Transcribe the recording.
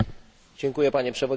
Panie Przewodniczący!